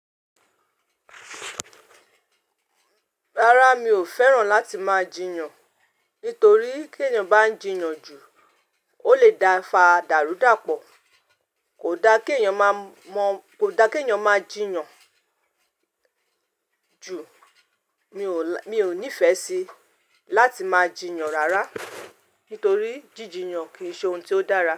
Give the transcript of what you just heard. Rárá, mi ò fẹ́ràn láti máa jiyàn. Nítorí kí èèyàn bá ń jiyàn jù ó lè da fa dàrúdàpọ̀. Kò da kí èèyàn má má, kò da kí èèyàn máa jiyàn ju. Mi ò, mi ò nífẹ̀ẹ́ sí láti máa jiyàn rárá. Nítorí jìjìyàn kì í ṣe ohun tí ó dára.